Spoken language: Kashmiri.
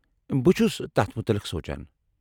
بہ چُھس تتھ مُتعلق سونٛچان۔